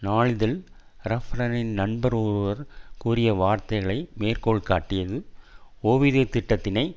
நாளிதழ் ரஃப்ரனின் நண்பர் ஒருவர் கூறிய வார்த்தைகளை மேற்கோள் காட்டியது ஓய்வூதிய திட்டத்தினை